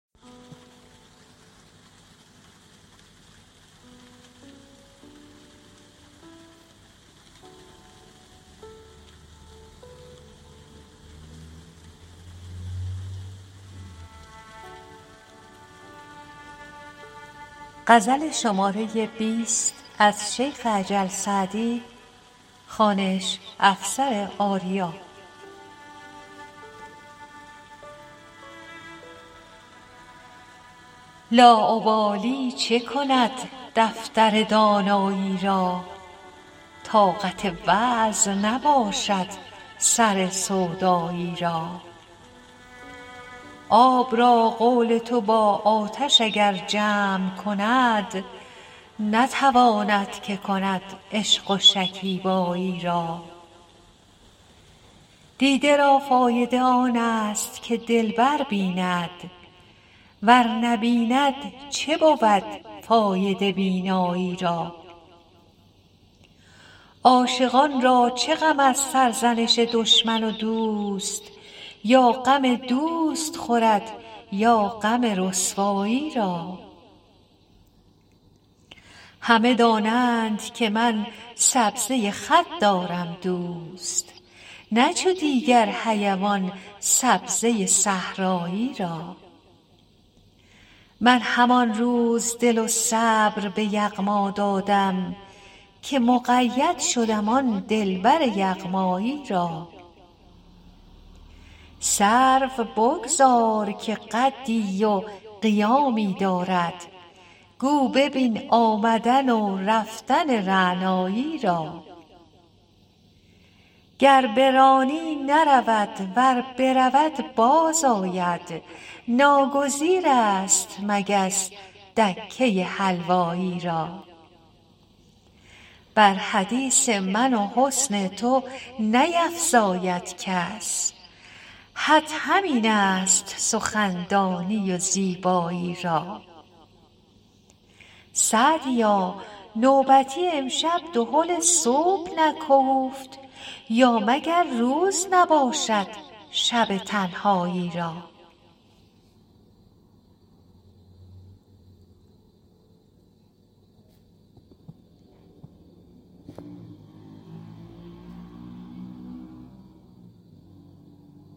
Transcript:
لاابالی چه کند دفتر دانایی را طاقت وعظ نباشد سر سودایی را آب را قول تو با آتش اگر جمع کند نتواند که کند عشق و شکیبایی را دیده را فایده آن است که دلبر بیند ور نبیند چه بود فایده بینایی را عاشقان را چه غم از سرزنش دشمن و دوست یا غم دوست خورد یا غم رسوایی را همه دانند که من سبزه خط دارم دوست نه چو دیگر حیوان سبزه صحرایی را من همان روز دل و صبر به یغما دادم که مقید شدم آن دلبر یغمایی را سرو بگذار که قدی و قیامی دارد گو ببین آمدن و رفتن رعنایی را گر برانی نرود ور برود باز آید ناگزیر است مگس دکه حلوایی را بر حدیث من و حسن تو نیفزاید کس حد همین است سخندانی و زیبایی را سعدیا نوبتی امشب دهل صبح نکوفت یا مگر روز نباشد شب تنهایی را